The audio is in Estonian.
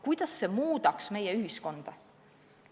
Kuidas see meie ühiskonda muudaks?